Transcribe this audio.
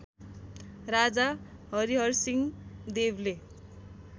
राजा हरिहरसिंहदेवले